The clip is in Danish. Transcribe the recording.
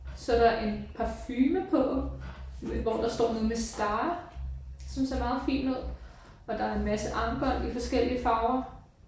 Så er der en parfume på hvor der står noget med star som ser meget fin ud og der er en masse armbånd i forskellige farver